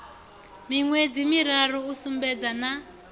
miṅwedzi miraru u sedzana na